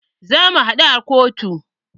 Zamu haɗu a kotu.